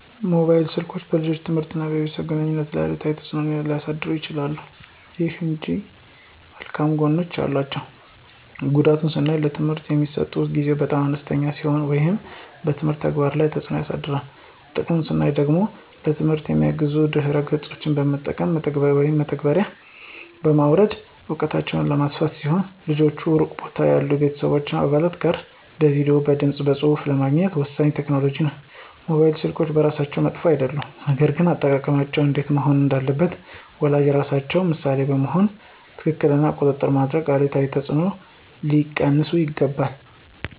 ሞባይል ስልኮች በልጆች ትምህርት እና በቤተሰብ ግንኙነት ላይ አሉታዊ ተጽዕኖ ሊያሳድሩ ይችላሉ። ይሁን እንጂ መልካም ጎኖችም አሏቸው። ጉዳቱን ስናይ ለትምህርት የሚሰጡት ጊዜ በጣም አነስተኛ ሲሆን ይህም በትምህርት ተግባር ላይ ተጽዕኖ ያሳድራል። ጥቅሙን ስናይ ደግሞ ለትምህርት የሚያግዙ ድህረ ገጾች በመግባት (መተግበሪያዎችን) በማውረድ እውቀታቸውን የሚያሰፉ ሲሆን ልጆች ሩቅ ቦታ ያሉ የቤተሰብ አባላት ጋር በቪዲዬ፣ በድምፅ በፁሁፍ ለመገናኘት ወሳኝ ቴክኖሎጂ ነው። ሞባይል ስልኮች በራሳቸው መጥፎ አይደሉም፣ ነገር ግን አጠቃቀማቸው እንዴት መሆን እንዳለበት ወላጆች ራሳቸው ምሳሌ በመሆን ክትትል እና ቁጥጥር በማድረግ አሉታዊ ተጽዕኖዎችን ሊቀንሱ ይችላሉ።